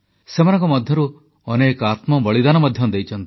ସେମାନଙ୍କ ମଧ୍ୟରୁ ଅନେକ ଆତ୍ମବଳିଦାନ ମଧ୍ୟ ଦେଇଛନ୍ତି